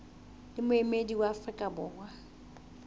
le moemedi wa afrika borwa